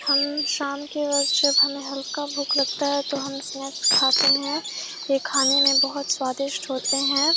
हम शाम के वक्त जब हमें हल्का भूख लगता है तो हम स्नैक्स खाते है ये खाने में बहुत स्वादिष्ट होते है।